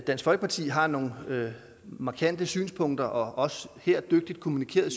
dansk folkeparti har nogle markante synspunkter og også de dygtigt kommunikerede